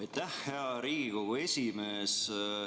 Aitäh, hea Riigikogu esimees!